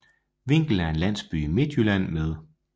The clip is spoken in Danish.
Vinkel er en landsby i Midtjylland med